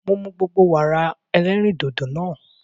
Mo mu gbogbo Wàrà ẹlẹ́rìndòdò nàa.